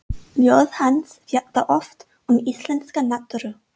Ljóð hans fjalla oft um íslenska náttúru.